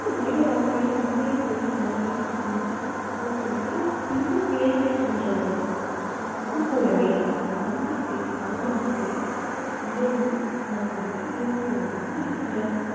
மனித வாழ்க்கையில் உண்மை, பொய், நன்மை, தீமை போன்றவைகள் பின்னிப்பிணைந்துஇருக்கின்றதோ அதுபோலவே நம்பிக்கை அவநம்பிக்கை இரண்டும் நம்மிடையே இருந்து கொண்டுதான் இருக்கின்றன.